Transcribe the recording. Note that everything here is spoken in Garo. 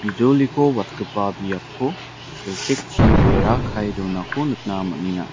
bijoliko watgipa biapko silchekchi bera kae donako nikna man·enga.